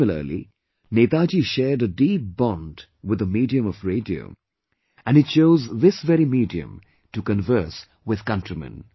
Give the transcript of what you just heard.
Similarly, Netaji shared a deep bond with the medium of Radio and he chose this very medium to converse with countrymen